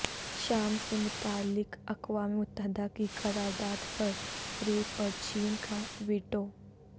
شام سے متعلق اقوام متحدہ کی قرارداد پر روس اور چین کا ویٹو